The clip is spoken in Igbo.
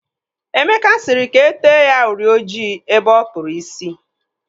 Emeka sịrị ka e tee ya uri ojii ebe ọ kpụrụ isi.